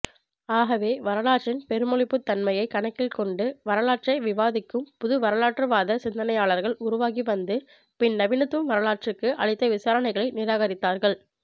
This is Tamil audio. ஆகவே வரலாற்றின் பெருமொழிபுத்தன்மையைக் கணக்கில்கொண்டு வரலாற்றை விவாதிக்கும் புதுவரலாற்றுவாதச் சிந்தனையாளர்கள் உருவாகி வந்து பின்நவீனத்துவம் வரலாற்றுக்கு அளித்த விவரணைகளை நிராகரித்தார்கள்